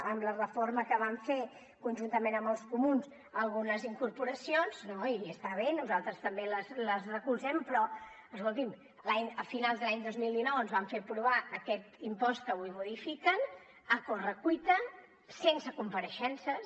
amb la reforma que van fer conjuntament amb els comuns algunes incorporacions no i està bé nosaltres també les recolzem però escolti’m a finals de l’any dos mil dinou ens van fer aprovar aquest impost que avui modifiquen a correcuita sense compareixences